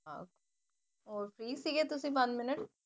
ਹੋਰ ਫਰੀ ਸੀਗੇ ਤੁਸੀਂ